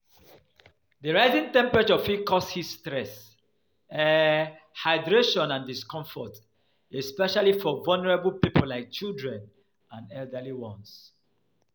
Di rising temperature fit cause heat stress, um hydration and discomfort, especially for vulnerable people like children and elderly ones.